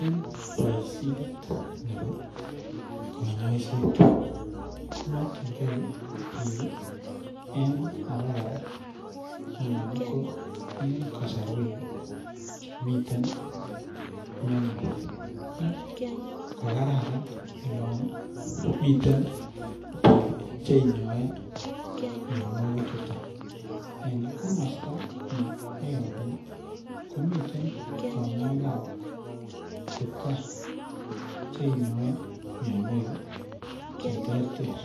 En baishet Nebo kanyaiset komakin gei bik ab koraa anan ko en kasarwek Chemiten mianwek mi kokararan en olan miten bik cheinyoe mianwagik chuton en komasta neyeabu komiten kanyaik ab kipkaa chinyoe mianwek cheterter